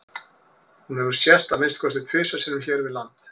hún hefur sést að minnsta kosti tvisvar sinnum hér við land